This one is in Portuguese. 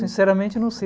Sinceramente, eu não sei.